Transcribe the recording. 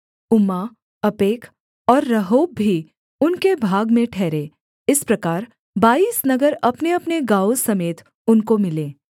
उम्मा अपेक और रहोब भी उनके भाग में ठहरे इस प्रकार बाईस नगर अपनेअपने गाँवों समेत उनको मिले